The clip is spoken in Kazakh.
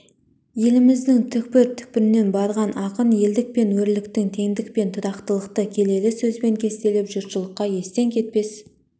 еліміздің түкпір-түкпірінен барған ақын елдік пен өрлікті теңдік пен тұрақтылықты келелі сөзбен кестелеп жұртшылыққа естен кетпес